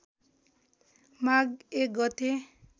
माघ १ गते